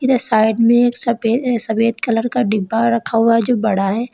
Side में एक सफे सफेद कलर का डिब्बा रखा हुआ जो बड़ा है।